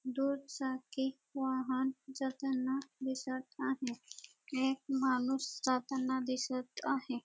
दोन चाकी वाहन जाताना दिसत आहे एक माणूस जाताना दिसत आहे.